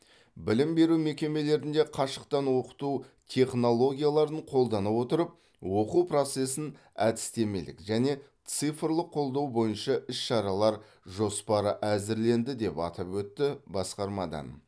білім беру мекемелерінде қашықтан оқыту технологияларын қолдана отырып оқу процесін әдістемелік және цифрлық қолдау бойынша іс шаралар жоспары әзірленді деп атап өтті басқармадан